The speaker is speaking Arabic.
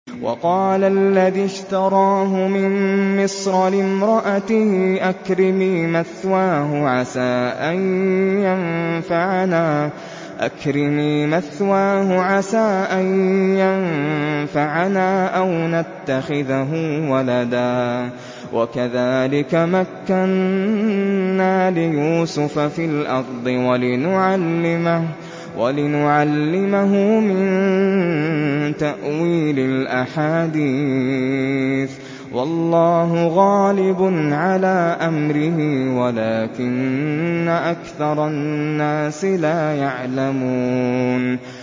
وَقَالَ الَّذِي اشْتَرَاهُ مِن مِّصْرَ لِامْرَأَتِهِ أَكْرِمِي مَثْوَاهُ عَسَىٰ أَن يَنفَعَنَا أَوْ نَتَّخِذَهُ وَلَدًا ۚ وَكَذَٰلِكَ مَكَّنَّا لِيُوسُفَ فِي الْأَرْضِ وَلِنُعَلِّمَهُ مِن تَأْوِيلِ الْأَحَادِيثِ ۚ وَاللَّهُ غَالِبٌ عَلَىٰ أَمْرِهِ وَلَٰكِنَّ أَكْثَرَ النَّاسِ لَا يَعْلَمُونَ